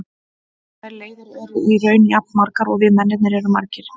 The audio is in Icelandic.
Þær leiðir eru í raun jafn margar og við mennirnir erum margir.